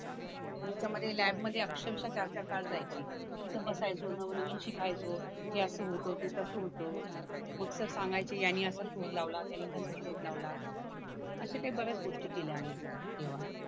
याच्यामध्ये लॅब मध्ये अक्षरशा चार चार तास जायची तिथे बसायचो नवनवीन शिकायचो हे असं होतं ते तसं होतं मग सर सांगायचे यांनी याचा शोध लावला त्यांनी त्याचा शोध लावला असे काही बऱ्याच गोष्टी केल्या आम्ही तेव्हा